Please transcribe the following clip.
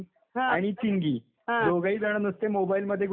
आणि चिंगी, दोघेही जण नुसते मोबाइल मध्ये गुंतलेले असतात.